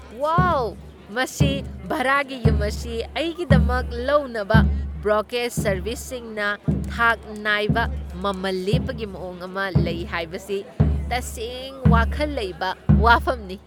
ꯋꯥꯎ, ꯃꯁꯤ ꯚꯥꯔꯥꯒꯤ ꯌꯨꯝ ꯑꯁꯤ ꯑꯩꯒꯤꯗꯃꯛ ꯂꯧꯅꯕ ꯕ꯭ꯔꯣꯀꯔꯦꯖ ꯁꯔꯕꯤꯁꯁꯤꯡꯅ ꯊꯥꯛ ꯅꯥꯏꯕ ꯃꯃꯜ ꯂꯦꯞꯄꯒꯤ ꯃꯑꯣꯡ ꯑꯃ ꯂꯩ ꯍꯥꯏꯕꯁꯤ ꯇꯁꯦꯡ ꯋꯥꯈꯜ ꯂꯩꯕ ꯋꯥꯐꯝꯅꯤ ꯫